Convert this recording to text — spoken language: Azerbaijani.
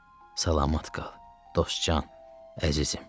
Salamat qal, Dostcan, əzizim.